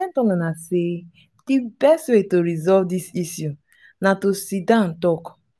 i don tell una say the best way to resolve dis issue na to sit down talk